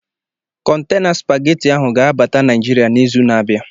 Kọntana Spagetị ahụ ga-abata Naijiria n'izu na-abịa.